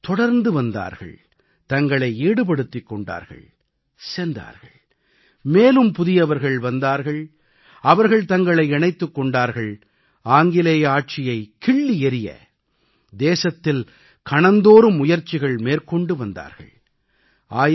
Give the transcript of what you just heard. மக்கள் தொடர்ந்து வந்தார்கள் தங்களை ஈடுபடுத்திக் கொண்டார்கள் சென்றார்கள் மேலும் புதியவர்கள் வந்தார்கள் அவர்கள் தங்களை இணைத்துக் கொண்டார்கள் ஆங்கிலேய ஆட்சியை கிள்ளி எறிய தேசத்தில் கணந்தோறும் முயற்சிகள் மேற்கொண்டு வந்தார்கள்